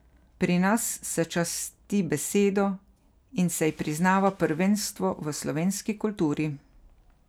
Pri nas se časti besedo in se ji priznava prvenstvo v slovenski kulturi.